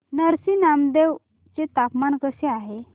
नरसी नामदेव चे तापमान कसे आहे